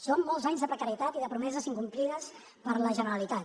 són molts anys de precarietat i de promeses incomplides per la generalitat